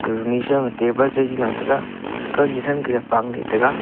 runi sow ma table jaji now tega kow ni thang ke pang le tega pow tega.